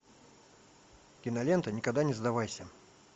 кинолента никогда не сдавайся